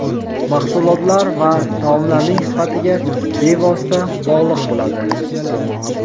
mahsulotlar va taomlarning sifatiga bevosita bog‘liq bo‘ladi.